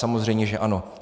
Samozřejmě, že ano.